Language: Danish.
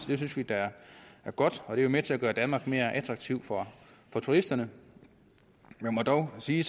det synes vi da er godt og det er jo med til at gøre danmark mere attraktivt for turisterne jeg må dog sige